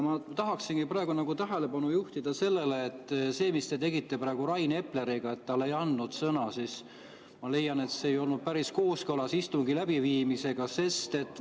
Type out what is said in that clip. Ma tahaksingi tähelepanu juhtida sellele, et see, mis te tegite praegu Rain Epleriga, et ei andnud talle sõna, ma leian, ei olnud päris kooskõlas istungi läbiviimise.